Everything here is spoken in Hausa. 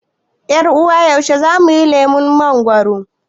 yar ' uwa Yaushe zamuyi lemon mangoro?